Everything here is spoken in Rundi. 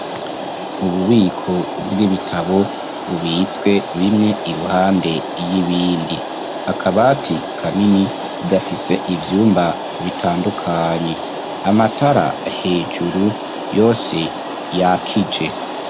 Ububiko bw'ibitabo bubitswe bimwe iruhande y'ibindi, akabati kanini gafise ivyumba bitandukanye, amatara hejuru yose yakije.